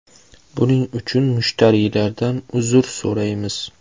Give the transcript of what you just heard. Buning uchun mushtariylardan uzr so‘raymiz.